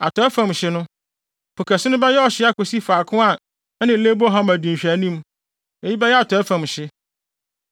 Atɔe fam no, Po Kɛse no bɛyɛ ɔhye akosi faako a ɛne Lebo Hamat di nhwɛanim. Eyi bɛyɛ atɔe fam hye.